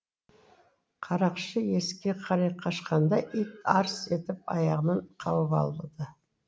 қарақшы есікке қарай қашқанда ит арс етіп аяғынан қауып алды